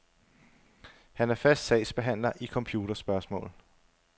Han er fast sagsbehandler i computerspørgsmål.